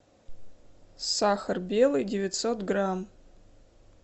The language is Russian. сахар белый девятьсот грамм